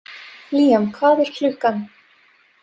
Líam, hvað er klukkan?